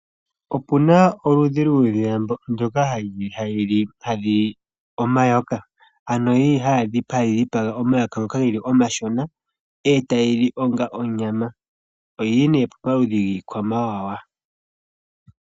Okuna oludhi lwuudhila ndoka ha lili omayoka ano hali dhipaga omayoka ngoka geli omashona eta yili ong onyama. Oluli nee pomaludhi giikwamawawa.